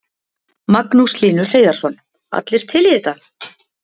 Magnús Hlynur Hreiðarsson: Allir til í þetta?